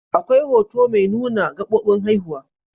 Akwai hoto mai nuna gabobin haihuwa.